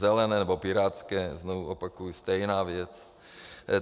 Zelené nebo pirátské, znova opakuji, stejná věc.